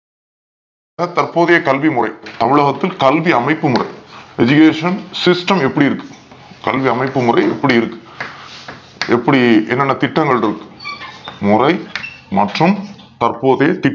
தற்போதையே கல்வி முறை தமிழகத்தில் கல்வி அமைப்பு முறை Education system எப்டி இருக்கு. கல்வி அமைப்பு முறை எப்டி இருக்கு எப்டி என்னன்ன திட்டங்கள் இருக்கு முறை மற்றும் தற்போதே திட்டங்கள்